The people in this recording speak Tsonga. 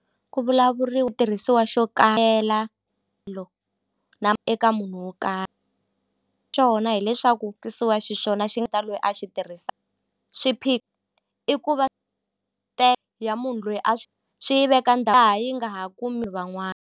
Ku vulavuriwa ku tirhisiwa xo eka munhu wo xona hileswaku xiswona ta loyi a xi tirhisa i ku va ya munhu loyi a xi yi veka laha yi nga ha kumi van'wana.